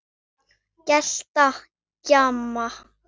Gelta, gjamma.